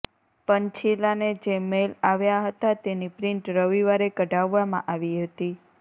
પંછીલાને જે મેઇલ આવ્યા હતા તેની પ્રિન્ટ રવિવારે કઢાવવામાં આવી હતી